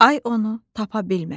Ay onu tapa bilmədi.